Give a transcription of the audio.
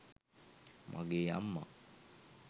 මගේ අම්මා